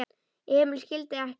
Emil skildi ekkert.